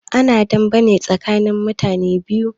Ana dame ne tsakanin mutane biyu